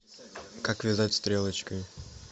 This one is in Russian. как вязать стрелочкой